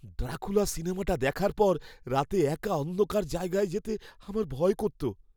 Dracula সিনেমাটা দেখার পর রাতে একা অন্ধকার জায়গায় যেতে আমার ভয় করত।